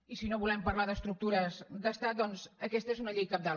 i si no volem parlar d’estructures d’estat doncs aquesta és una llei cabdal